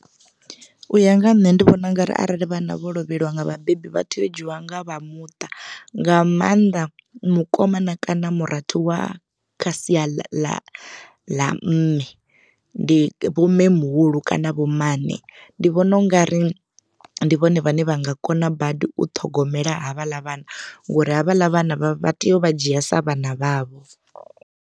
U ya nga ha nṋe ndi vhona ungari arali vhana vho lovheliwa nga vhabebi vha tea u dzhiwa nga vha muṱa nga mannḓa mukomana kana murathu wa kha sia ḽa ḽa mme. Ndi vho mme muhulu kana vho mmane ndi vhona ungari ndi vhone vhane vha nga kona badi u ṱhogomela havhaḽa vhana ngori havhaḽa vhana vha tea u vha dzhia sa vhana vhavho.